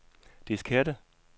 diskette